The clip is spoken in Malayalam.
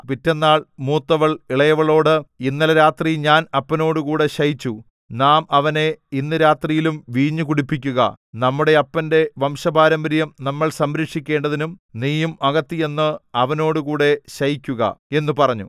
പിറ്റെന്നാൾ മൂത്തവൾ ഇളയവളോട് ഇന്നലെ രാത്രി ഞാൻ അപ്പനോടുകൂടെ ശയിച്ചു നാം അവനെ ഇന്ന് രാത്രിയും വീഞ്ഞു കുടിപ്പിക്കുക നമ്മുടെ അപ്പന്റെ വംശപാരമ്പര്യം നമ്മൾ സംരക്ഷിക്കേണ്ടതിന് നീയും അകത്തുചെന്ന് അവനോടുകൂടെ ശയിക്കുക എന്നു പറഞ്ഞു